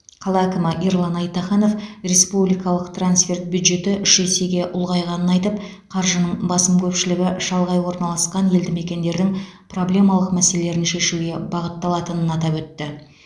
қала әкімі ерлан айтаханов республикалық трансферт бюджеті үш есеге ұлғайғанын айтып қаржының басым көпшілігі шалғай орналасқан елді мекендердің проблемалық мәселелерін шешуге бағытталатынын атап өтті